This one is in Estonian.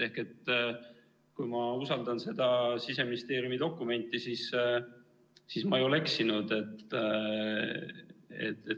Ehk kui ma usaldan seda Siseministeeriumi dokumenti, siis ma ei ole eksinud.